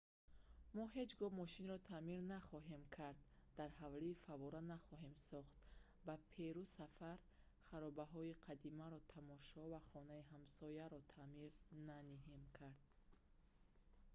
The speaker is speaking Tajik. мо ҳеҷ гоҳ мошинро таъмир нахоҳем кард дар ҳавлӣ фаввора нахоҳем сохт ба перу сафар харобаҳои қадимаро тамошо ва хонаи ҳамсояро таъмир наҳем кард